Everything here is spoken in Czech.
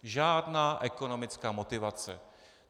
Žádná ekonomická motivace.